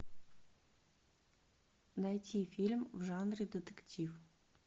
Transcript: найти фильм в жанре детектив